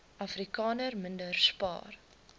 afrikaners minder spaar